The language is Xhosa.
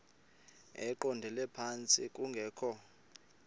eqondele phantsi kungekho